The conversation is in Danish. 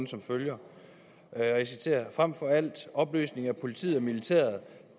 som følger og jeg citerer frem for alt opløsning af politiet og militæret